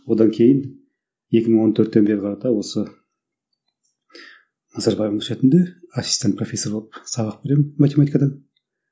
одан кейін екі мың он төрттен бері қарата осы назарбаев университетінде ассистент профессор болып сабақ беремін математикадан